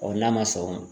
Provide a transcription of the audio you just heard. n'a ma sɔn o ma